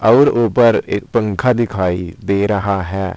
और ऊपर एक पंखा दिखाई दे रहा है।